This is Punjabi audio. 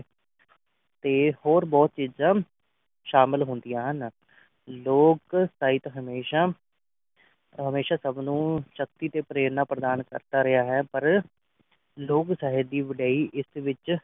ਤੇ ਹੋਰ ਬਹੁਤ ਚੀਜਾਂ ਸ਼ਾਮਲ ਹੁੰਦੀਆਂ ਹਨ ਲੋਕ ਸਾਹਿਤ ਹਮੇਸ਼ਾ ਹਮੇਸ਼ਾ ਸਬ ਨੂੰ ਸ਼ਕਤੀ ਤੇ ਪ੍ਰੇਰਣਾ ਪ੍ਰਦਾਨ ਕਰਦਾ ਰਿਹਾ ਹੈ ਪਰ ਲੋਕ ਸਾਹਿਤ ਦੀ ਵਡਾਈ ਇਸ ਵਿਚ